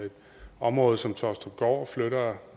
i områder som taastrupgaard flytter